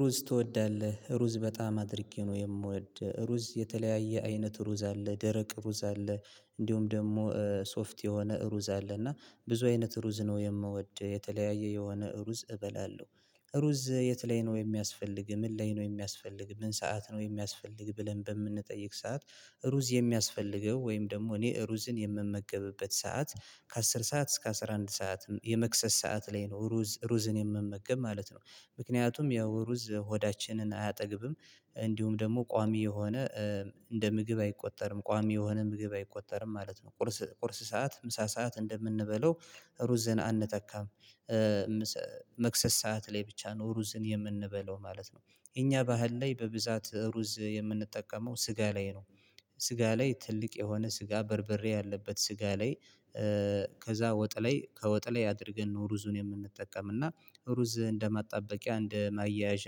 ሩዝ ትወዳለህ ሩዝ በጣም አድርጌ ነው የምወድ ሩዝ የተለያየ አይነት ሩዝ አለ ደረቅ ሩዝ አለ እንዲሁም ደግሞ ሶፍት የሆነ እሩዝ አለ እና ብዙ አይነት ሩዝ ነው የምወድ የተለያየ የሆነ ሩዝ እበላለሁ። ሩዝ የት ላይ ነው የሚያስፈልግ ምን ላይ ነው የሚያስፈልግ ምን ሰዓት ነው የሚያስፈልግ ብለን በምንጠይቅ ሰዓት? ሩዝ የሚያስፈልገው ወይም ደግሞ እኔ ሩዝን የምመገብበት ሰዓት ከአስር ሰዓት እስከ አስራ አንድ ሰዓት የመክሰስ ሰዓት ላይ ነው ሩዝ ሩዝን የምመገብ ማለት ነው። ምክንያቱም ያው ሩዝ ሆዳችንን አያጠግብም። እንዲሁም ደግሞ ቋሚ የሆነ እንደ ምግብ አይቆጠርም ቋሚ የሆነ ምግብ አይቆጠርም ማለት ነው። ቁርስ ቁርስ ሰዓት ምሳ ሰዓት እንደምንበላው ሩዝን አንተካም መክሰስ ሰዓት ላይ ብቻ ነው ሩዝን የምንበላው ማለት ነው። የኛ ባህል ላይ በብዛት ሩዝ የምንጠቀመው ስጋ ላይ ነው። ስጋ ላይ ትልቅ የሆነ ስጋ በርብሬ ያለበት ስጋ ላይ። ከዛ ወጥ ላይ ከወጥ ላይ አድርገን ነው ሩዙን የምንጠቀም እና ሩዝ እንደማጣበቂያ እንደ ማያያዣ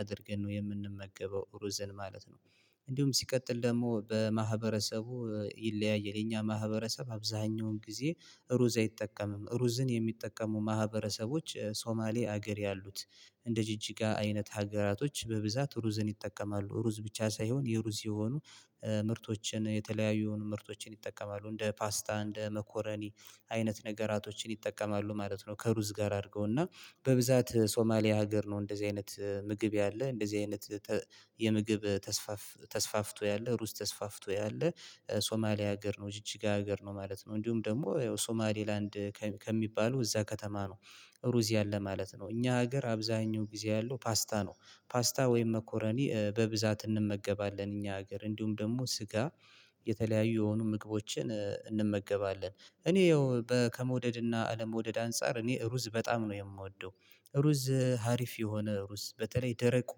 አድርገን ነው የምንመገበው ሩዝን ማለት ነው። እንዲሁም ሲቀጥል ደግሞ በማህበረሰቡ ይለያያል የኛ ማህበረሰብ አብዛሀኛውን ጊዜ። ሩዝ አይጠቀምም ሩዝን የሚጠቀሙ ማህበረሰቦች ሶማሌ ሀገር ያሉት እንደ ጅጅጋ አይነት ሀገራቶች በብዛት ሩዝን ይጠቀማሉ። ሩዝ ብቻ ሳይሆን የሩዝ የሆኑ ምርቶችን የተለያዩ ምርቶችን ይጠቀማሉ እንደ ፓስታ እንደ መኮረኒ አይነት ነገራቶችን ይጠቀማሉ ማለት ነው። ከሩዝ ጋር አድርገውና በብዛት ሶማሊያ ሀገር ነው እንደዚህ አይነት ምግብ ያለ እንደዚህ አይነት። የምግብ ተስፋፍ ተስፋፍቶ ያለ ሩስ ተስፋፍቶ ያለ ሶማሊያ ሀገር ነው ጅጅጋ ሀገር ነው ማለት ነው። እንዲሁም ደግሞ ያው ሶማሌ ላንድ ከሚባሉ እዛ ከተማ ነው። ሩዝ ያለ ለማለት ነው እኛ ሀገር አብዛኛው ጊዜ ያለው ፓስታ ነው። ፓስታ ወይም መኮረኒ በብዛት እንመገባለን እኛ ሀገር እንዲሁም ደግሞ ስጋ። የተለያዩ የሆኑ ምግቦችን እንመገባለን እኔ ያው በ ከመውደድና አለመውደድ አንፃር እኔ ሩዝ በጣም ነው የምወደው። ሩዝ ሀሪፍ የሆነ ሩዝ በተለይ ደረቁ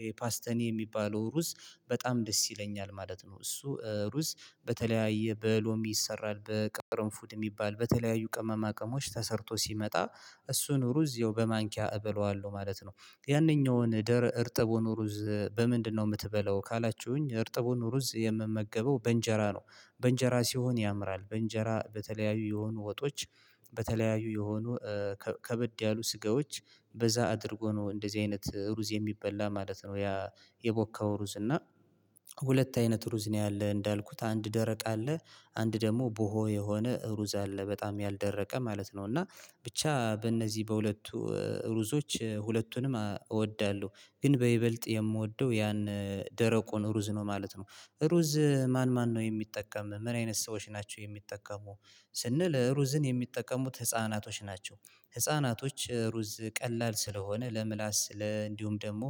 ይሄ ፓስቲኒ የሚባለው ሩዝ በጣም ደስ ይለኛል ማለት ነው። እሱ ሩዝ በተለያየ በሎሚ ይሰራል በቅርንፉድ የሚባል በተለያዩ ቅመማ ቅሞች ተሰርቶ ሲመጣ እሱን ሩዝ ያው በማንኪያ እበለዋለሁ ማለት ነው። ያንኛውን ደረ እርጥቡን ሩዝ በምንድነው የምትበላው? ካላችሁኝ እርጥቡን ሩዝ የምመገበው በእንጀራ ነው። በእንጀራ ሲሆን ያምራል በእንጀራ በተለያዩ የሆኑ ወጦች በተለያዩ የሆኑ ከበድ ያሉ ስጋዎች በዛ አድርጎ ነው እንደዚህ አይነት ሩዝ የሚበላ ማለት ነው። ያ የቦካው ሩዝ እና ሁለት አይነት ሩዝ ነው ያለ እንዳልኩት አንድ ደረቅ አለ። አንድ ደግሞ ቦሆ የሆነ እሩዝ አለ በጣም ያልደረቀ ማለት ነው። እና ብቻ በእነዚህ በሁለቱ እሩዞች ሁለቱንም እወዳለሁ። ግን በይበልጥ የምወደው ያን ደረቁን ሩዝ ነው ማለት ነው። ሩዝ ማን ማን ነው የሚጠቀም ምን አይነት ሰዎች ናቸው የሚጠቀሙ? ስንል ሩዝን የሚጠቀሙት ህፃናቶች ናቸው። ህፃናቶች ሩዝ ቀላል ስለሆነ ለምላስ ለ እንዲሁም ደግሞ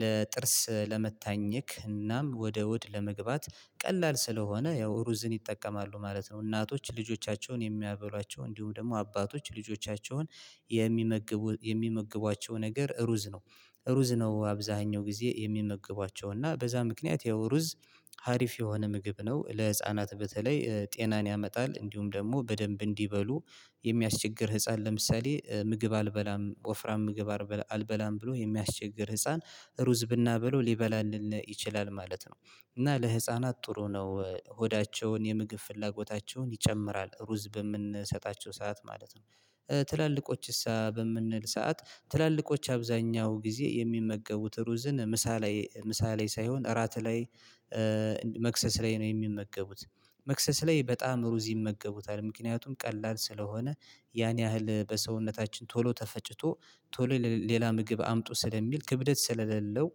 ለጥርስ ለመታኘክ እናም ወደ ሆድ ለመግባት ቀላል ስለሆነ ያው ሩዝን ይጠቀማሉ ማለት ነው። እናቶች ልጆቻቸውን የሚያበሏቸው እንዲሁም ደግሞ አባቶች ልጆቻቸውን የሚመግቡ የሚመግቧቸው ነገር ሩዝ ነው። ሩዝ ነው አብዛሀኛው ጊዜ የሚመግቧቸው እና በዛ ምክንያት ያው ሩዝ ሀሪፍ የሆነ ምግብ ነው። ለህፃናት በተለይ ጤናን ያመጣል እንዲሁም ደግሞ በደንብ እንዲበሉ የሚያስቸግር ህፃን ለምሳሌ ምግብ አልበላም ወፍራም ምግብ አልበላም ብሎ የሚያስቸግር ህፃን ሩዝ ብናብለው ሊበላልን ይችላል ማለት ነው። እና ለህፃናት ጥሩ ነው ሆዳቸውን የምግብ ፍላጎታቸውን ይጨምራል ሩዝ በምንሰጣቸው ሰዓት ማለት ነው። ትላልቆችሳ በምንል ሰዓት ትላልቆች አብዛኛው ጊዜ የሚመገቡት ሩዝን ምሳ ላይ ምሳ ላይ ሳይሆን እራት ላይ መክሰስ ላይ ነው የሚመገቡት። መክሰስ ላይ በጣም ሩዝ ይመገቡታል ምክንያቱም ቀላል ስለሆነ ያን ያህል በሰውነታችን ቶሎ ተፈጭቶ ቶሎ ሌላ ምግብ አምጡ ስለሚል ክብደት ስለሌለው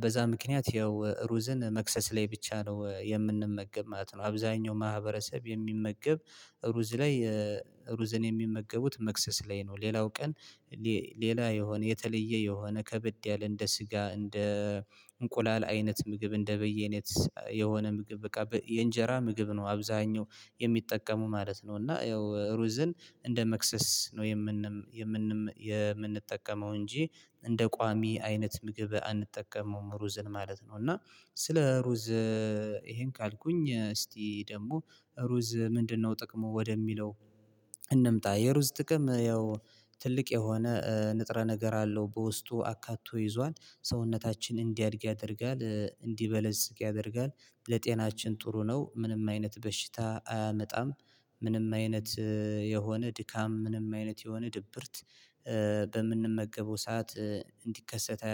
በዛ ምክንያት ያው ሩዝን መክሰስ ላይ ብቻ ነው የምንመገብ ማለት ነው። አብዛኛው ማህበረሰብ የሚመገብ። ሩዝ ላይ ሩዝን የሚመገቡት መክሰስ ላይ ነው። ሌላው ቀን ሌላ የሆነ የተለየ የሆነ ከብድ ያለ እንደ ስጋ እንደ እንቁላል አይነት ምግብ እንደ በያይነት የሆነ ምግብ በቃ የእንጀራ ምግብ ነው አብዛሀኛው የሚጠቀመው ማለት ነው። እና ያው ሩዝን እንደ መክሰስ ነው የምንጠቀመው እንጂ እንደ ቋሚ አይነት ምግብ አንጠቀመውም ሩዝን ማለት ነው። እና ስለ ሩዝ ይሄን ካልኩኝ እስቲ ደግሞ ሩዝ ምንድነው ጥቅሙ ወደሚለው። እንምጣ የሩዝ ጥቅም ያው ትልቅ የሆነ ንጥረ ነገር አለው በውስጡ አካቶ ይዟል። ሰውነታችን እንዲያድግ ያደርጋል እንዲበለጽግ ያደርጋል። ለጤናችን ጥሩ ነው ምንም አይነት በሽታ አያመጣም። ምንም አይነት የሆነ ድካም ምንም አይነት የሆነ ድብርት በምንመገበው ሰዓት እንዲከሰት